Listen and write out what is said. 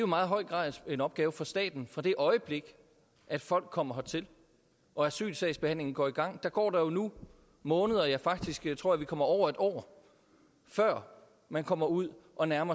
meget høj grad en opgave for staten fra det øjeblik folk kommer hertil og asylsagsbehandlingen går i gang går der jo nu måneder ja faktisk tror jeg vi kommer over et år før man kommer ud og nærmer